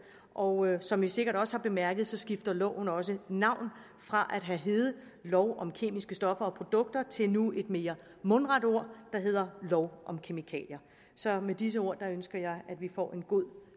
og som man sikkert også har bemærket skifter loven også navn fra at have heddet lov om kemiske stoffer og produkter til nu et mere mundret ord der hedder lov om kemikalier så med disse ord ønsker jeg at vi får en god